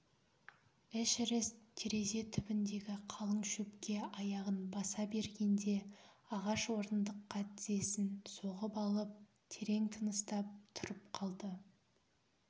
эшерест терезе түбіндегі қалың шөпке аяғын баса бергенде ағаш орындыққа тізесін соғып алып терең тыныстап тұрып қалды